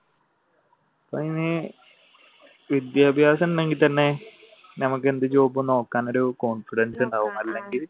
വിദ്യാഭ്യാസം ഉണ്ടെങ്കിൽ തന്നെ ഞമ്മക്ക് എന്ത് job നോക്കാനൊരു confidence ഉണ്ടാകും അല്ലെങ്കിൽ